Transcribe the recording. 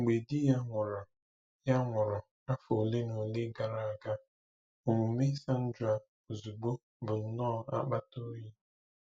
Mgbe di ya nwụrụ ya nwụrụ afọ ole na ole gara aga, omume Sandra ozugbo bụ nnọọ akpata oyi.